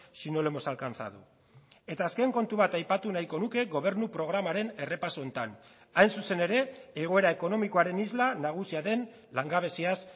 si no lo hemos alcanzado eta azken kontu bat aipatu nahiko nuke gobernu programaren errepaso honetan hain zuzen ere egoera ekonomikoaren isla nagusia den langabeziaz